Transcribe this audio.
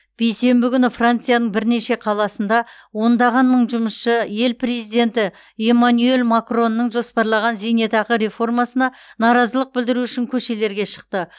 бейсенбі күні францияның бірнеше қаласында ондаған мың жұмысшы ел президенті эмманюэль макронның жоспарлаған зейнетақы реформасына наразылық білдіру үшін көшелерге шықты